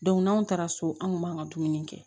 n'anw taara so an kun b'an ka dumuni kɛ